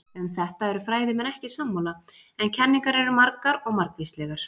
Um þetta eru fræðimenn ekki sammála, en kenningar eru margar og margvíslegar.